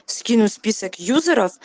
скину список юзеров